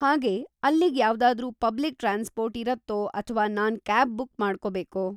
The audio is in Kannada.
ಹಾಗೇ ಅಲ್ಲಿಗ್ ಯಾವ್ದಾದ್ರೂ ಪಬ್ಲಿಕ್‌ ಟ್ರಾನ್ಸ್‌ಪೋರ್ಟ್ ಇರತ್ತೋ ಅಥ್ವಾ ನಾನ್ ಕ್ಯಾಬ್ ಬುಕ್ ಮಾಡ್ಕೋಬೇಕೋ?